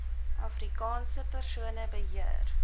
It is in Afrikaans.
afrikaanse persone beheer